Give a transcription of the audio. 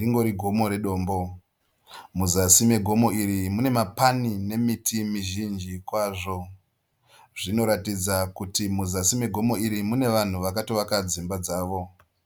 Ringori gomo redombo. Muzasi megomo iri mune mapani nemiti mizhinji kwazvo. Zvinoratidza kuti muzasi megomo iri mune vanhu vakatovaka dzimba dzavo.